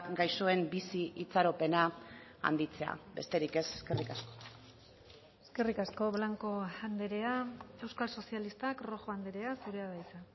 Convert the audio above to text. gaixoen bizi itxaropena handitzea besterik ez eskerrik asko eskerrik asko blanco andrea euskal sozialistak rojo andrea zurea da hitza